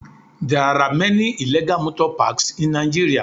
There are many illegal motor parks in Nigeria